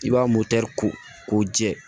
I b'a ko jɛ